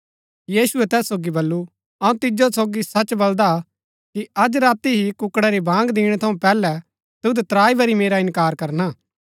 यीशुऐ तैस सोगी बल्लू अऊँ तिजो सोगी सच बलदा कि अज राती ही कुक्कड़ा री बाँग दिणै थऊँ पैहलै तुद त्राई बरी मेरा इन्कार करना